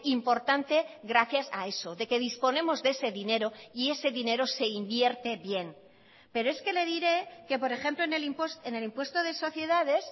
importante gracias a eso de que disponemos de ese dinero y ese dinero se invierte bien pero es que le diré que por ejemplo en el impuesto de sociedades